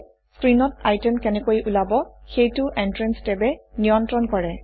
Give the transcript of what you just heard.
স্ক্ৰীনত item কেনেকৈ ওলাব সেইটো Entranceটেবে নিয়ন্ত্ৰণ কৰে